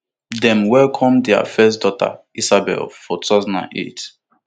dem welcome dia first daughter isabella for two thousand and eight